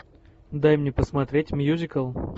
дай мне посмотреть мюзикл